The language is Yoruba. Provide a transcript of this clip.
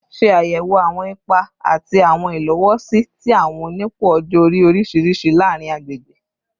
Ṣe ayẹwo awọn ipa ati awọn ilowosi ti awọn onipò ọjọ-ori oriṣiriṣi laarin agbegbe